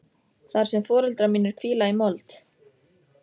Þar sem foreldrar mínir hvíla í mold.